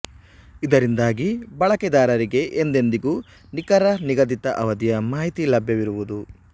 ಇದರಿಂದಾಗಿ ಬಳಕೆದಾರರಿಗೆ ಎಂದೆಂದಿಗೂ ನಿಖರ ನಿಗದಿತ ಅವಧಿಯ ಮಾಹಿತಿ ಲಭ್ಯವಿರುವುದು